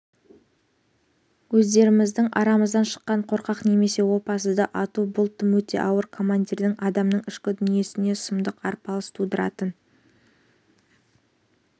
өздеріміздің арамыздан шыққан қорқақ немесе опасызды ату бұл тым өте ауыр командирдің адамның ішкі дүниесінде сұмдық арпалыс тудыратын